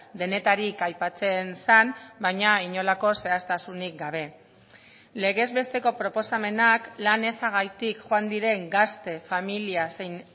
denetarik aipatzen zen baina inolako zehaztasunik gabe legez besteko proposamenak lan ezagatik joan diren gazte familia zein